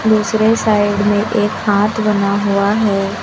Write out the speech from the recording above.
दूसरे साइड में एक हाथ बना हुआ है।